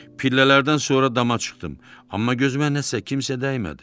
Pillələrdən sonra dama çıxdım, amma gözümə nəsə kimsə dəymədi.